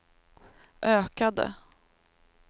ökade